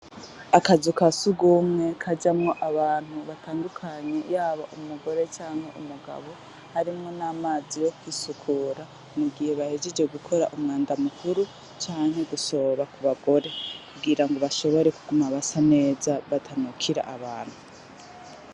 Akazu ka surwumwe kajamwo abantu batandukanye yaba umugore canke umugabo, harimwo n'amazi yo kwisukura mugihe bahejeje gukora umwanda mukuru canke gusoba kubagore, kugira ngo bashobore kuguma basa neza batanukira abantu.